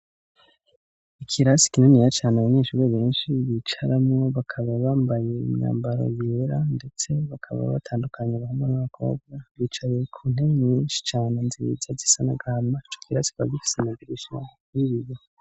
Ikirasi kininiya cane abanyeshure benshi bicaramo bakaba bambaye imyambaro yera ndetse bakaba batandukanye abahungu n'abakobwa bicaye ku ntebe nyinshi cana nziza zisa n'agahama ico kirasi kikaba gifise amadirisha y'ibiyo.